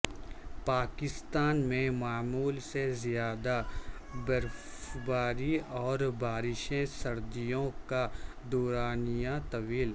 پاکستان میں معمول سے زیادہ برفباری اور بارشیں سردیوں کا دورانیہ طویل